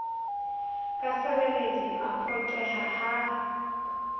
ka sereledi a phoqeha ha